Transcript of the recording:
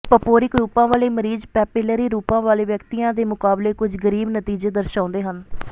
ਪਪੋਰਿਕ ਰੂਪਾਂ ਵਾਲੇ ਮਰੀਜ਼ ਪੈਪਿਲਰੀ ਰੂਪਾਂ ਵਾਲੇ ਵਿਅਕਤੀਆਂ ਦੇ ਮੁਕਾਬਲੇ ਕੁੱਝ ਗਰੀਬ ਨਤੀਜੇ ਦਰਸਾਉਂਦੇ ਹਨ